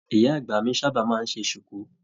Ìyá àgbà mí sábà máa n ṣe sùkú.